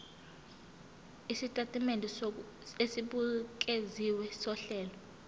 isitatimende esibukeziwe sohlelo